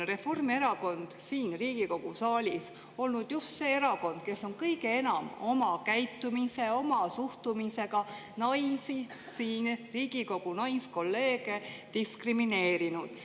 Reformierakond on siin Riigikogu saalis olnud just see erakond, kes on kõige enam oma käitumise, oma suhtumisega naisi, siin Riigikogu naiskolleege diskrimineerinud.